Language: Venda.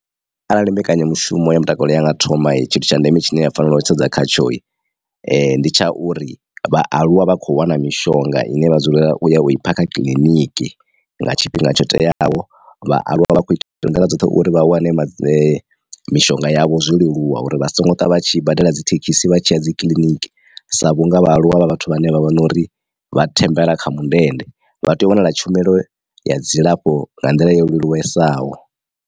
Arali mbekanyamushumo ya mutakalo yanga thoma tshithu tsha ndeme tshine ya fanela u sedza khatsho ndi tsha uri vhaaluwa vha kho wana mishonga ine vha dzulela u ya u i phakha kiḽiniki nga tshifhinga tsho teaho. Vhaaluwa vha vha kho ita nḓila dzoṱhe uri vha wane mishonga yavho zwo leluwa uri vha songo twa vha tshi badela dzi thekhisi vha tshiya dzi kiḽiniki sa vhunga vha aluwa vha vhathu vhane vha vha nori vha thembela kha mundende vha tea u wanala tshumelo ya dzilafho nga nḓila yo leluwesaho.